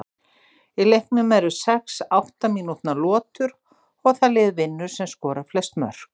Í leiknum eru sex átta mínútna lotur og það lið vinnur sem skorar flest mörk.